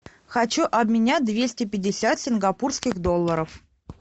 хочу обменять двести пятьдесят сингапурских долларов